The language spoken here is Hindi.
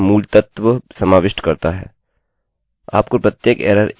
वहाँ और भी हैं यह सूची संपूर्ण नहीं है यह केवल कुछ मूलतत्वबैसिक्ससमाविष्ट करता है